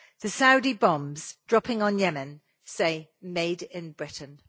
The Saudi bombs dropping on Yemen say Made in Britain'.